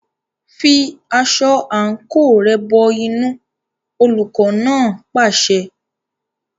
Fi aṣọ àǹkóò rẹ̀ bọ inú, olùkọ́ náà pàṣẹ.